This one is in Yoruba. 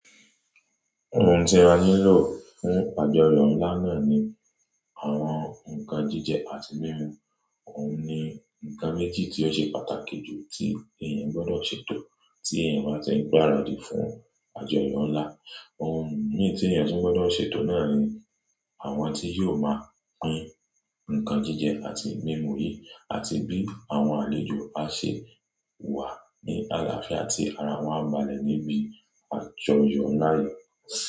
Ohun tí a ni lọ fún àjọyọ̀ ńlá náà ni àwọn ǹnkan jíjẹ àti mímu. Ohun ni ǹnkan méjì tí ó ṣe pàtàkì jù tí èèyàn gbọ́dọ̀ ṣètò tí ẹni bá tí ń gbáradì fún àjọyọ̀ ńlá. Ohun mi tí èèyàn tún gbọ́dọ̀ ṣètò náà ni àwọn tí yóò máa pín ǹnkan jíjẹ àti mímu yìí àti bí àwọn àlejò á ṣe wà ní àlàáfíà tí ara wọ́n á balẹ̀ níbi àjọyọ̀ ńlá yi.